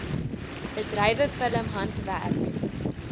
bedrywe film handwerk